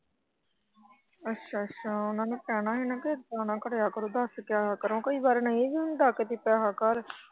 ਅੱਛਾ ਚਾਹ ਓਹਨਾ ਨੂੰ ਕਹਿਣਾ ਹੀ ਕਿ ਨਾ ਕਰਿਆ ਕਰੋ ਦੱਸ ਕੇ ਆਇਆ ਕਰੋ ਕਈ ਵਾਰ ਨਹੀਂ ਵੀ ਹੁੰਦਾ ਕਦੀ ਪੈਹਾ ਘਰ।